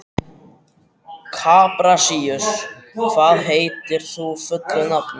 Kaprasíus, hvað heitir þú fullu nafni?